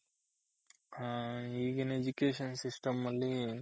ಹಾ ಈಗಿನ್ Education System ಅಲ್ಲಿ